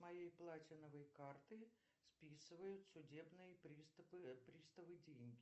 с моей платиновой карты списывают судебные приставы деньги